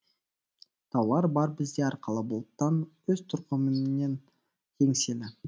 таулар бар бізде арқалы бұлттан өз тұрқыменен еңселі